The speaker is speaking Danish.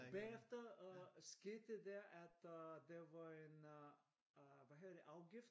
Og bagefter skete det der at øh der var en øh hvad hedder det afgift?